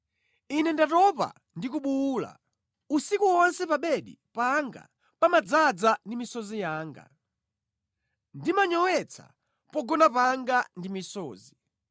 Ine ndatopa ndi kubuwula; usiku wonse pa bedi panga pamadzaza ndi misozi yanga; ndimanyowetsa pogona panga ndi misozi.